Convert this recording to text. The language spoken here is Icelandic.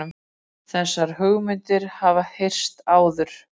Þessar hugmyndir hafa heyrst áður